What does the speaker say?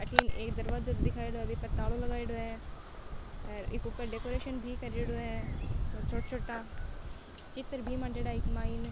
अठीन एक दरवाजो दिखाईडा है बि पर तालो लगाईडो है हर एक ऊपर डेकोरेशन भी करेडो है और छोटा छोटा चित्र भी मानडेडॉ है इक माइन।